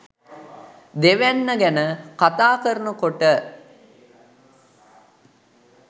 දෙවැන්න ගැන කතා කරනකොට